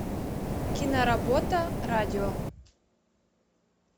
киноработа радио